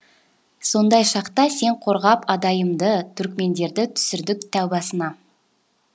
сондай шақта сен қорғап адайымды түркмендерді түсірдік тәубасына